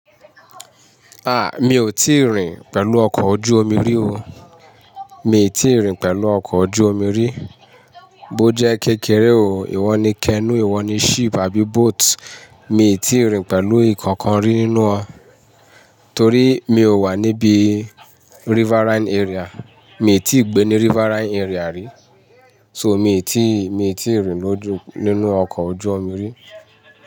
Mi ò tíì rìn pẹ̀lú ọkọ̀ ojú omi rí o. Mi ò tíì rìn pẹ̀lú ọkọ̀ ojú omi rí. Bó jẹ́ kékeré o, ìwọ ni canoe, ìwọ ni ship àbí boat, mi ò tíì rìn pẹ̀lú ìkankan rí nínú wọn. Torí mi ò wà níbi riverine area. Mi ò tíì gbé ní riverine area rí. So mi ò tíì, mi ò tíì rìn lójú, nínú ọkọ̀ ojú omi rí.